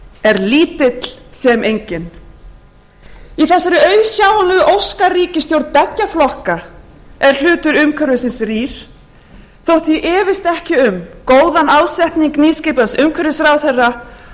er lítill sem enginn í þessari auðsjáanlegu óskaríkisstjórn beggja flokka er hlutur umhverfisins rýr þótt ég efist ekki um góðan ásetning nýskipaðs umhverfisráðherra og óski